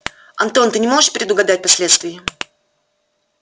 антон ты не можешь предугадать последствий